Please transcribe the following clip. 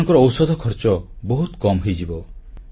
ସେମାନଙ୍କର ଔଷଧ ଖର୍ଚ୍ଚ ବହୁତ କମ୍ ହୋଇଯିବ